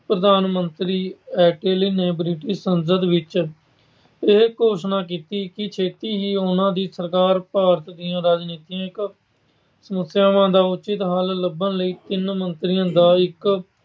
ਪ੍ਰਧਾਨ ਮੰਤਰੀ ਐਟਲੀ ਨੇ ਬ੍ਰਿਟਿਸ਼ ਸੰਸਦ ਵਿੱਚ ਇਹ ਘੋਸ਼ਣਾ ਕੀਤੀ ਕਿ ਛੇਤੀ ਹੀ ਉਹਨਾਂ ਦੀ ਸਰਕਾਰ ਭਾਰਤ ਦੀਆਂ ਰਾਜਨੀਤਕ ਸਮਸਿਆਵਾਂ ਦਾ ਉਚਿਤ ਹੱਲ ਲੱਭਣ ਲਈ ਤਿੰਨ ਮੰਤਰੀਆਂ ਦਾ ਇੱਕ